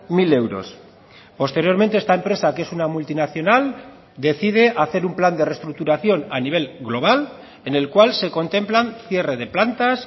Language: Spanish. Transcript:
mil euros posteriormente esta empresa que es una multinacional decide hacer un plan de restructuración a nivel global en el cual se contemplan cierre de plantas